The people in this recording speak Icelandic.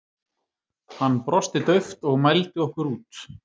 Hann brosti dauft og mældi okkur út.